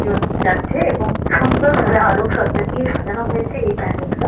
জন যাচ্ছে এবং সুন্দর ভাবে আলোকসজ্জা দিয়ে সাজানো হয়েছে এই প্যান্ডেলটা ।